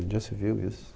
Onde já se viu isso?